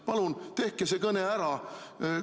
Palun tehke see kõne ära!